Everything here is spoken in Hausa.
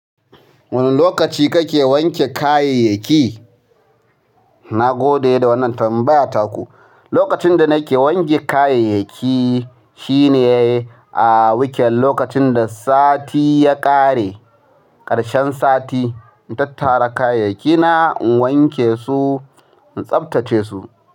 Wane lokaci kake wanke kayayyaki? Na gode da wannan tambaya taku. Lokacin da nake wanke kayayyaki shine a wuken lokacin da sati ya ƙare, ƙarshen sati. In tattara kayayyaki na in wanke su in tsabtace su.